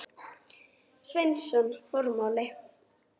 Sveinsson: Formáli.